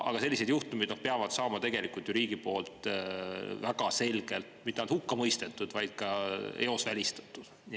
Aga sellised juhtumid peavad saama tegelikult ju riigi poolt väga selgelt, mitte ainult hukkamõistetud, vaid ka eos välistatud.